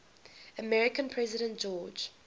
american president george